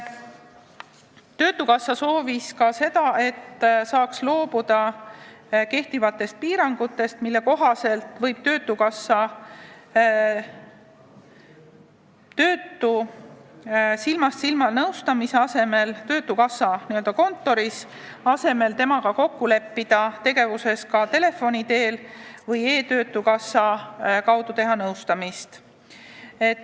Töötukassa soovis ka seda, et saaks loobuda kehtivatest piirangutest, mille kohaselt võib töötukassa töötu silmast silma nõustamise asemel töötukassa kontoris temaga tegevuses kokku leppida ka telefoni teel või teha nõustamist e-töötukassa kaudu.